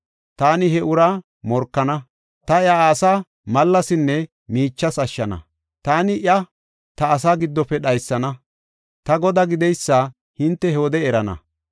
Taani he uraa morkana; ta iya asa malasinne miichas ashshana; taani iya ta asaa giddofe dhaysana; ta Godaa gideysa hinte he wode erana.